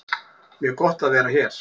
Mjög gott að vera hér